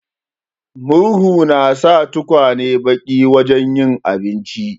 Murhu na sa tukwanen baki wajen yin abinci.